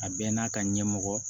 A bɛɛ n'a ka ɲɛmɔgɔ